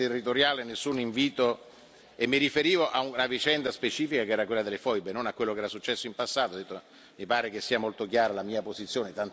Però, appunto, non c'era nessuna rivendicazione territoriale, e mi riferivo a un vicenda specifica, che era quella delle foibe, non a quello che era successo in passato.